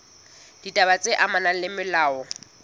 ditaba tse amanang le molao